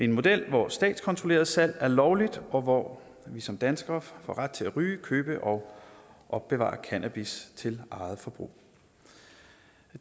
en model hvor statskontrolleret salg er lovligt og hvor vi som danskere får ret til at ryge købe og opbevare cannabis til eget forbrug